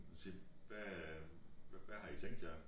Hun siger hvad hvad har i tænkt jer